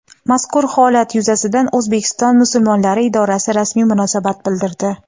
Mazkur holat yuzasidan O‘zbekiston musulmonlari idorasi rasmiy munosabat bildirdi.